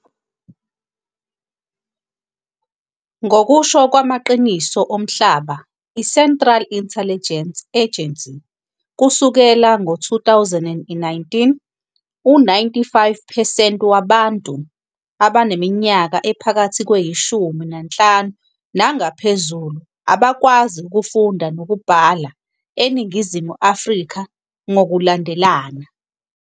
Ngokusho kwamaqiniso omhlaba i- Central Intelligence Agency kusukela ngo-2019, u-95 percent wabantu abaneminyaka ephakathi kweyi shumi nanhlanu nangaphezulu bangakwazi ukufunda nokubhala eNingizimu Afrika ngokulandelana.